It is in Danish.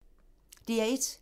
DR1